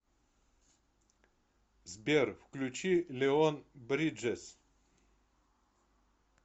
сбер включи леон бриджес